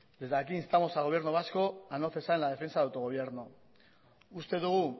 desde aquí instamos al gobierno vasco a no cesar en la defensa de autogobierno uste dugu